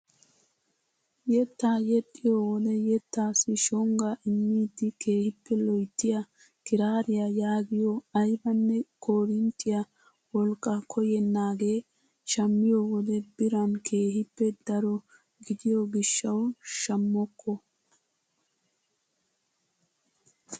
Yettaa yexxiyoo wode yettaasi shonggaa immidi keehippe loyttiyaa kiraariyaa yaagiyoo aybanne korinttiyaa wolqqaa koyennaagee shammiyoo wode biran keehippe daro gidiyoo gishshawu shamokko!